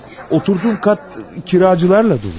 Oturduğum qat kiracılarla dolu.